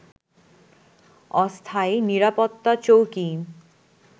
অস্থায়ী নিরাপত্তা চৌকি